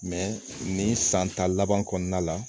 nin san ta laban kɔnɔna la